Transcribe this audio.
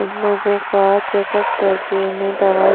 लोगों का चेकअप करके उन्हें दवा--